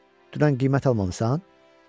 Dünən qiymət almamısan?